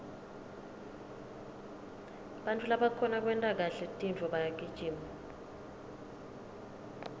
bantfu labakhona kwenta kahle tintfo bayagijima